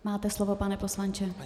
Máte slovo, pane poslanče.